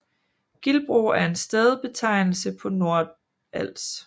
Gildbro er en stedbetegnelse på Nordals